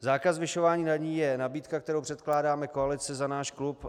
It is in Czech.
Zákaz zvyšování daní je nabídka, kterou předkládáme koalici za náš klub.